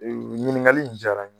nin ɲiniŋali jara n ye